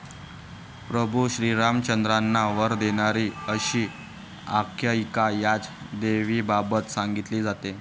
प्रभू श्रीरामचंद्रांना वर देणारी अशी आख्यायिका याच देवीबाबत सांगितली जाते.